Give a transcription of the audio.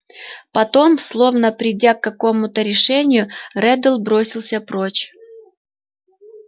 потом словно придя к какому-то решению реддл бросился прочь